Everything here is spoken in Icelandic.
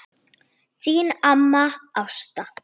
Þín amma Ásta.